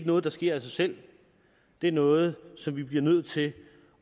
noget der sker af sig selv det er noget som vi bliver nødt til